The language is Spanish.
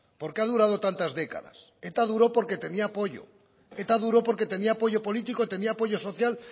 por qué ha durado tantas décadas eta duro porque tenía apoyo eta duro porque tenía apoyo político tenía apoyo social